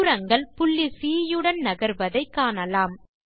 தூரங்கள் புள்ளி சி யுடன் நகர்வதை காணலாம்